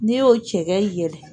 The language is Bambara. N'i y'o cɛkɛ yɛlɛ